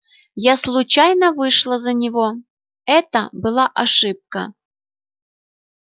я случайно вышла за него это была ошибка